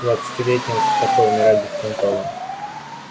двадцатилетним в такой умирать беспонтово